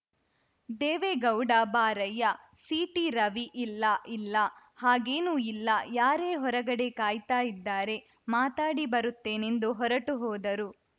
ದೇವೇಗೌಡ ಬಾರಯ್ಯ ಸಿಟಿರವಿ ಇಲ್ಲ ಇಲ್ಲಾ ಹಾಗೇನೂ ಇಲ್ಲಾ ಯಾರೇ ಹೊರಗಡೆ ಕಾಯ್ತಾ ಇದ್ದಾರೆ ಮಾತನಾಡಿ ಬರುತ್ತೇನೆಂದು ಹೊರಟು ಹೋದರು